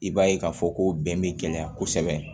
I b'a ye k'a fɔ ko bɛn bɛ gɛlɛya kosɛbɛ